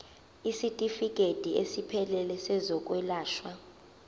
isitifikedi esiphelele sezokwelashwa